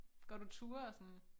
Går du ture og sådan?